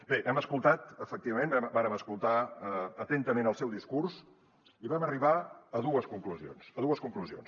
bé hem escoltat efectivament vàrem escoltar atentament el seu discurs i vam arribar a dues conclusions a dues conclusions